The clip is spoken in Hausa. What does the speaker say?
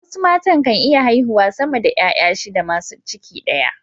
wasu matan kan iya haihuwa sama da ’ya’ya shida masu ciki daya